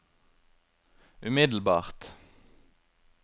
umiddelbart